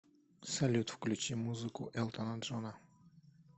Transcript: салют включи музыку элтона джона